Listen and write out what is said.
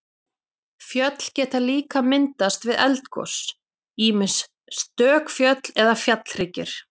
Fjöll geta líka myndast við eldgos, ýmist stök fjöll eða fjallhryggir.